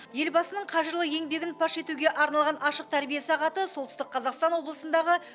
елбасының қажырлы еңбегін паш етуге арналған ашық тәрбие сағаты солтүстік қазақстан облысындағы